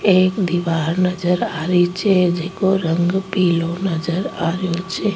एक दिवार नजर आ री छे जैको रंग पिलो नजर आ रो छे।